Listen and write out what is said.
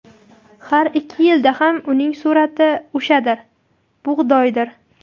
Har ikki yilda ham uning surati o‘shadir-bug‘doydir.